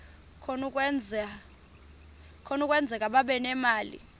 kunokwenzeka babe nemali